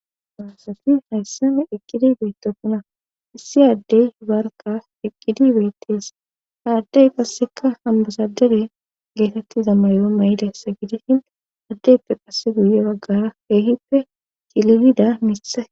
Aasati hayssame iqqidi beyttopuna issi addey barka piqqidi beyttees ha addey qasseka hambasadere geetettiza mayo may'ilessa gidishin addeyppe qasse guye baggara heehippe cililida misae.